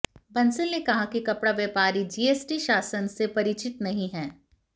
बंसल ने कहा कि कपड़ा व्यापारी जीएसटी शासन से परिचित नहीं हैं